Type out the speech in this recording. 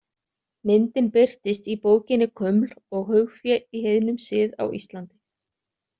Myndin birtist í bókinni Kuml og haugfé í heiðnum sið á Íslandi.